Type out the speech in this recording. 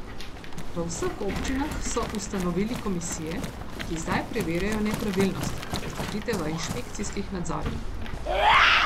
V vseh občinah so ustanovili komisije, ki zdaj preverjajo nepravilnosti, odkrite v inšpekcijskih nadzorih.